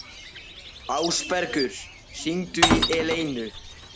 Ásbergur, hringdu í Eleinu.